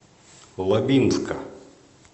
лабинска